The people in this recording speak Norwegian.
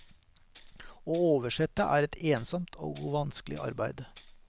Å oversette er et ensomt og vanskelig arbeid.